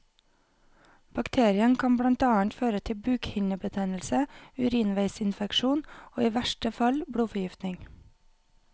Bakterien kan blant annet føre til bukhinnebetennelse, urinveisinfeksjon og i verste fall blodforgiftning.